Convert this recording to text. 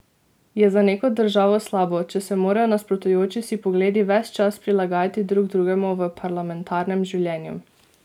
Je za neko državo slabo, če se morajo nasprotujoči si pogledi ves čas prilagajati drug drugemu v parlamentarnem življenju?